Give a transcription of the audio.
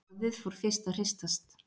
Borðið fór fyrst að hristast